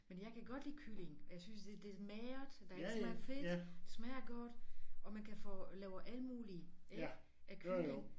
Men jeg kan godt lide kylling og jeg synes det det magert der er ikke så meget fedt det smager godt og man kan få laver alle mulige ikke af kylling